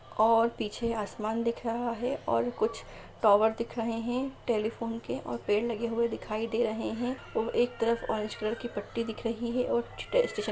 और पीछे आसमान दिख रहा है और कुछ टॉवर दिख रहे हैं टेलिफोन के और पेड़ लगे हुए दिखाई दे रहे हैं और एक तरफ ऑरेंज कलर की पट्टी दिख रही है और --